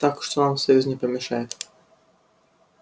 так что нам союз не помешает